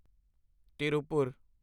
Tiruppur